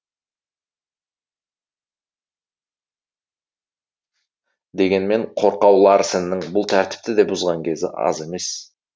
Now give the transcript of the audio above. дегенмен қорқау ларсеннің бұл тәртіпті де бұзған кезі аз емес